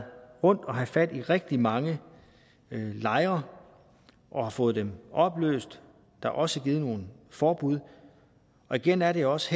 rundt og haft fat i rigtig mange lejre og har fået dem opløst der er også givet nogle forbud og igen er det også